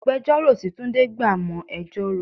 Agbẹjoro tí túndé gbà mo ẹjọ́ rò.